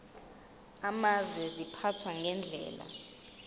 amazwe ziphathwa ngendlela